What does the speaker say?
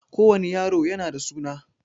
Ko wani yaro yana da suna